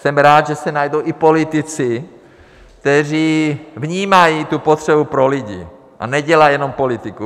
Jsem rád, že se najdou i politici, kteří vnímají tu potřebu pro lidi a nedělají jenom politiku.